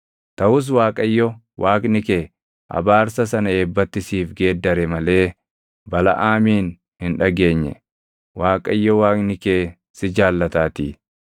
Taʼus Waaqayyo Waaqni kee abaarsa sana eebbatti siif geeddare malee Balaʼaamin hin dhageenye; Waaqayyo Waaqni kee si jaallataatii.